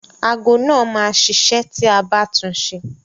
Ago náà máa ṣiṣẹ́ ti a bá tun ṣe.